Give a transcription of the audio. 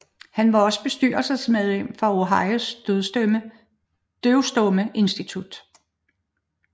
Han var også bestyrelsesmedlem for Ohios døvstumme institut